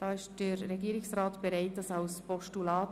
» Antrag Regierungsrat: Annahme als Postulat.